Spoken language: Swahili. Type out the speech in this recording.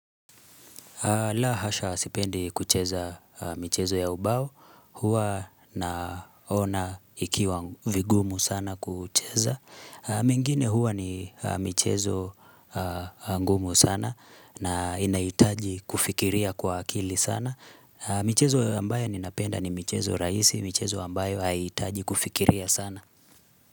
La hasha sipendi kucheza michezo ya ubao, huwa naona ikiwa vigumu sana kucheza. Mingine huwa ni michezo ngumu sana na inahitaji kufikiria kwa akili sana. Michezo ambayo ninapenda ni michezo rahisi, michezo ambayo haihitaji kufikiria sana.